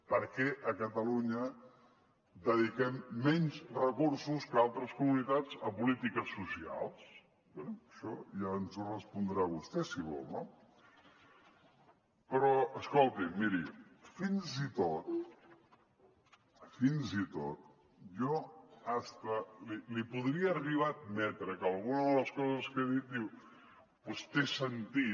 per què a catalunya dediquem menys recursos que altres comunitats a polítiques socials bé això ja ens ho respondrà vostè si vol no però escolti miri fins i tot fins i tot jo li podria arribar a admetre que alguna de les coses que ha dit té sentit